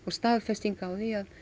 staðfesting á því að